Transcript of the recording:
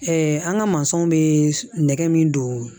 an ka mansaw bɛ nɛgɛ min don